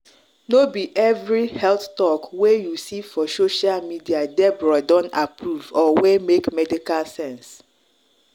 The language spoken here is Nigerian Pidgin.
no be every health talk wey you see for social media debra don approve or wey make medical sense.